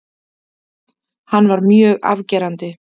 Hann var mjög afgerandi.